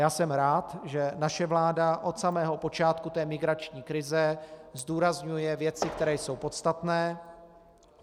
Já jsem rád, že naše vláda od samého počátku té migrační krize zdůrazňuje věci, které jsou podstatné.